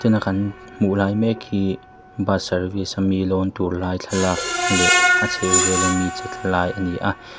kan hmuhlai mek hi bus service a mi lawntur lai thlalak leh a chhehvel a mi che tlalai ani a.